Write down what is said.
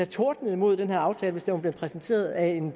tordnet imod den her aftale hvis den var blevet præsenteret af en